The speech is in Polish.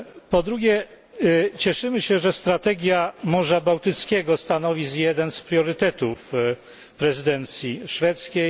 Po drugie, cieszymy się, że strategia Morza Bałtyckiego stanowi jeden z priorytetów prezydencji szwedzkiej.